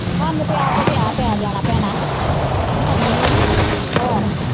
ਸਾਨੂੰ ਤੇ ਆਪ ਵਿਆਹ ਪੈ ਜਾਣਾ ਭੈਣਾਂ ਹਮ ਖਰਚੇ ਦਾ ਘਰ, ਹੋਰ